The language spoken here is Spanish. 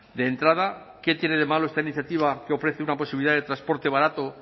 de entrada qué tiene de malo esta iniciativa que ofrece una posibilidad de transporte barato